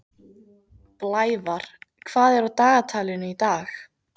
Blævar, hvað er á dagatalinu í dag?